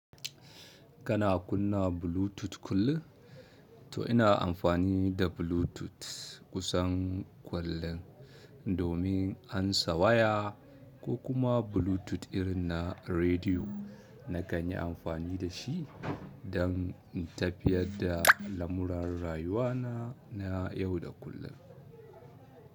Kana kunna Bluetooth kullum? To ina amfani da Bluetooth kusan kullun domin ansa waya ko kuma Bluetooth irin na rediyo. Nakan yi amfani da shi don in tafiyar da lamuran rayuwa na, na yau da kullun.